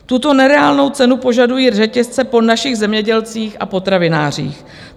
Tuto nereálnou cenu požadují řetězce po našich zemědělcích a potravinářích.